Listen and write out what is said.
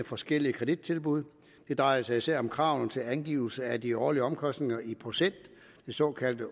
forskellige kredittilbud det drejer sig især om kravene til angivelse af de årlige omkostninger i procent de såkaldte